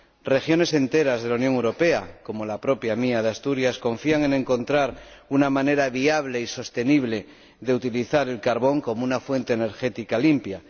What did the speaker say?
Regiones enteras de la Unión Europea, como la mía, Asturias, confían en encontrar una manera viable y sostenible de utilizar el carbón como una fuente energética limpia.